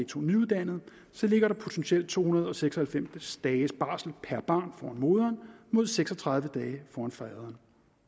to nyuddannede så ligger der potentielt to hundrede og seks og halvfems dages barsel per barn foran moderen mod seks og tredive dage foran faderen